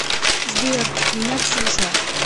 сбер меня ксюша